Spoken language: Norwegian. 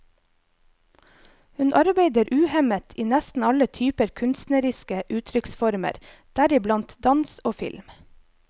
Hun arbeider uhemmet i nesten alle typer kunstneriske uttrykksformer, deriblant dans og film.